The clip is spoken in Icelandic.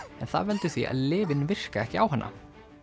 en það veldur því að lyfin virka ekki á hana